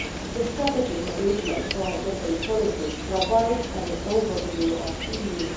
The strategic engagement for gender equality provides an overview of EUR